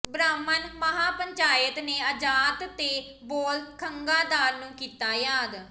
ਬ੍ਰਾਹਮਣ ਮਹਾਪੰਚਾਇਤ ਨੇ ਆਜ਼ਾਦ ਤੇ ਬਾਲ ਗੰਗਾਧਰ ਨੂੰ ਕੀਤਾ ਯਾਦ